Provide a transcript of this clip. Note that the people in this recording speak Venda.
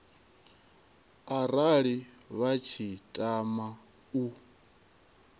arali vha tshi tama u